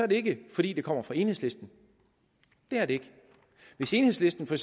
det ikke fordi det kommer fra enhedslisten det er det ikke hvis enhedslisten for